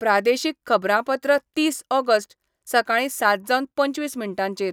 प्रादेशीक खबरांपत्र तीस ऑगस्ट, सकाळीं सात जावन पंचवीस मिनटांचेर